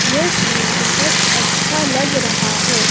यह सीन बहोत अच्छा लग रहा है।